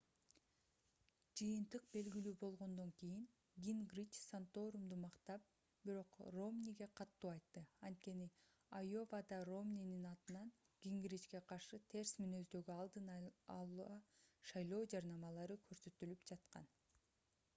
жыйынтык белгилүү болгондон кийин гингрич санторумду мактап бирок ромниге катуу айтты анткени айовада ромнинин атынан гингричке каршы терс мүнөздөгү алдын ала шайлоо жарнамалары көрсөтүлүп жаткан